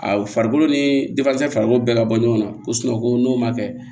A farikolo ni farikolo bɛɛ ka bɔ ɲɔgɔn na ko ko n'o ma kɛ